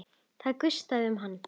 Það gustaði um hann.